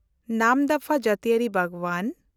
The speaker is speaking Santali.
ᱱᱟᱢᱫᱟᱯᱷᱟ ᱡᱟᱹᱛᱤᱭᱟᱹᱨᱤ ᱵᱟᱜᱽᱣᱟᱱ